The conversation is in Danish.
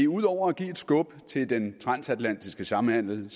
ud over at give et skub til den transatlantiske samhandel vil